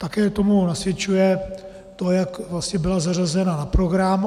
Také tomu nasvědčuje to, jak vlastně byla zařazena na program.